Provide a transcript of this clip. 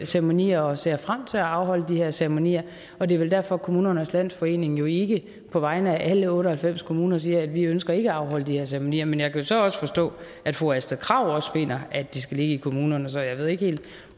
ceremonier og ser frem til at afholde de her ceremonier og det er vel derfor at kommunernes landsforening jo ikke på vegne af alle otte og halvfems kommuner siger at vi ønsker ikke at afholde de her ceremonier men jeg kan jo så også forstå at fru astrid krag også finder at de skal ligge i kommunerne så jeg ved ikke helt